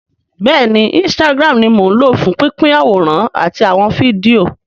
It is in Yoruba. Bẹ́ẹ̀ni instagram ni mò ń lò fún pínpín àwòrán àti àwọn fídíò